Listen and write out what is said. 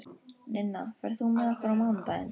Ninna, ferð þú með okkur á mánudaginn?